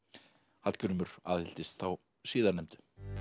Hallgrímur aðhylltist þá síðarnefndu